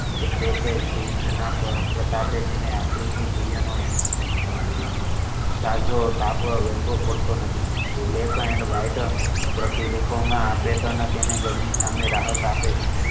એ છે કે પગ સાથેતેને african હેઠો પડતો નથી black and white રંગ ની patten તેને ગરંમી સામે રાહત આપે છે.